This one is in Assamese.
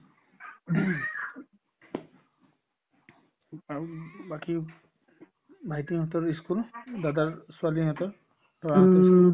উম, বাকি ভাইটিহঁতৰ ই school দাদাৰ ছোৱালী সিহঁতৰ ল'ৰাটোৰ ই school